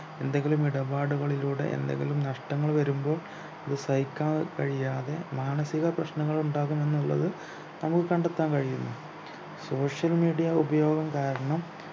എന്തെങ്കിലും ഇടപാടുകളിലൂടെ എന്തെങ്കിലും നഷ്ടങ്ങൾ വരുമ്പോ അത് സഹിക്കാൻ കഴിയാതെ മാനസിക പ്രശ്നനങ്ങൾ ഉണ്ടാകുമെന്നുള്ളത് നമ്മുക്ക് കണ്ടെത്താൻ കഴിയുന്നു social media ഉപയോഗം കാരണം